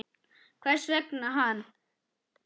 Hvers vegna hann?